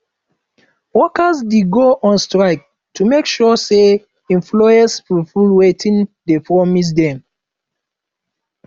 workers de go on strike to make sure say employers fulfill wetin de promise dem